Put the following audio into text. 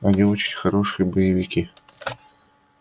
они очень хорошие боевики